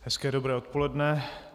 Hezké dobré odpoledne.